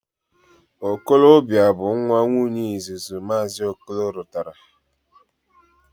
Okolobia bu nwa Nwunyee izuzu Maazi Okolo rutara.